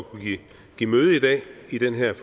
at kunne give møde i dag ved den her